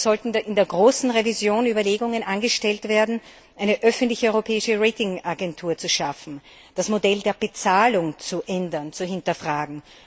Also sollten in der großen Revision Überlegungen angestellt werden, eine öffentliche europäische Ratingagentur zu schaffen, das Modell der Bezahlung zu ändern und zu hinterfragen.